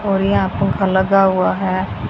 और यहां पंखा लगा हुआ है।